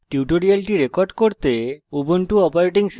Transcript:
tutorial record করতে